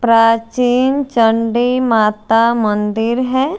प्राचीन चंडी माता मंदिर है।